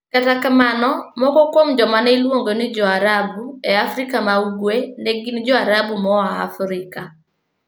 Kata kamano, moko kuom joma ne iluongo ni "Jo-Arabu" e Afrika ma Ugwe ne gin Jo-Arabu moa Afrika.